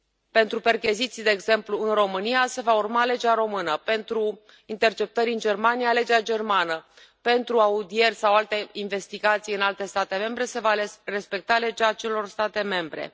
Pentru percheziții, de exemplu, în România, se va urma legea română, pentru interceptări în Germania, legea germană, pentru audieri sau alte investigații în alte state membre se va respecta legea acelor state membre.